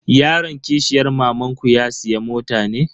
Yaron kishiyar mamanku ya siya mota ne?